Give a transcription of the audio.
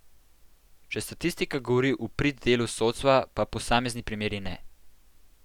Če statistika govori v prid delu sodstva, pa posamezni primeri ne.